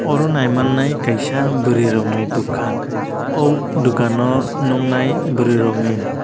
aro naimannai kaisa bwrui rokni dukan oh dukano nuknai bwrui rokni.